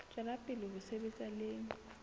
tswela pele ho sebetsa le